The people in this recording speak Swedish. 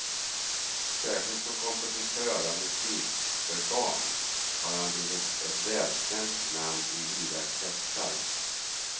Särskilt som kompositör av musik för barn har han blivit ett välkänt namn i vida kretsar.